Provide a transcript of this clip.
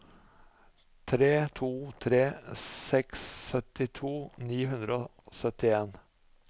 tre to tre seks syttito ni hundre og syttien